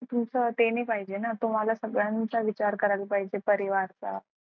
तुमचं ते नाही पाहिजे ना तुम्हाला सगळ्यांचा विचार करायला पाहिजे परिवाराचा